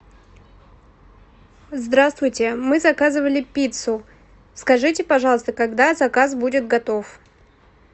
здравствуйте мы заказывали пиццу скажите пожалуйста когда заказ будет готов